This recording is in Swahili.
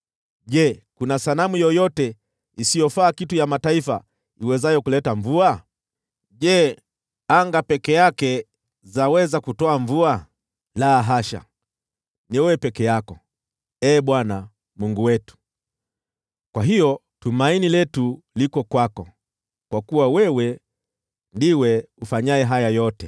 Je, kuna sanamu yoyote isiyofaa kitu ya mataifa iwezayo kuleta mvua? Je, anga peke yake zaweza kutoa mvua? La hasha, ni wewe peke yako, Ee Bwana , Mungu wetu. Kwa hiyo tumaini letu liko kwako, kwa kuwa wewe ndiwe ufanyaye haya yote.